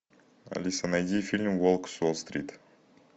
алиса найди фильм волк с уолл стрит